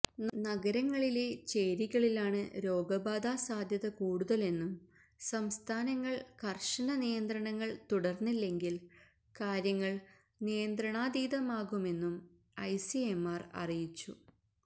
നഗരങ്ങളിലെ ചേരികളിലാണ് രോഗബാധാ സാധ്യത കൂടുതലെന്നും സംസ്ഥാനങ്ങൾ കർശന നിയന്ത്രണങ്ങൾ തുടർന്നില്ലെങ്കിൽ കാര്യങ്ങൾ നിയന്ത്രണാതീതമാകുമെന്നും ഐസിഎംആർ അറിയിച്ചു